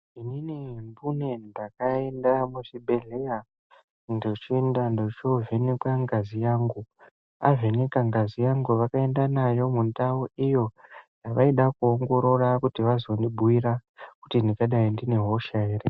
Inini mbune ndakaenda muchibhedhlera, ndochoovhenekwa ngazi yangu. Avheneka ngazi yangu vakaenda nayo mundawu iyo mevaida kuongorora kuti vazondibhuyira, kuti ndingadai ndine hosha here.